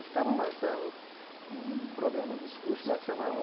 E estavam lançando um um programa uns curso lá que chamava...